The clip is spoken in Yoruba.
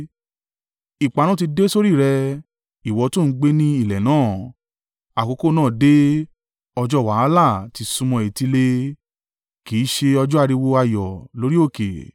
Ìparun ti dé sórí rẹ, ìwọ tó ń gbé ní ilẹ̀ náà. Àkókò náà dé! Ọjọ́ wàhálà ti súnmọ́ etílé! Kì í ṣe ọjọ́ ariwo ayọ̀ lórí òkè.